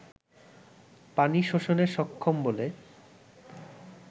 পানি শোষণে সক্ষম বলে